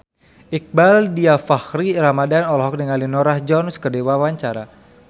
Iqbaal Dhiafakhri Ramadhan olohok ningali Norah Jones keur diwawancara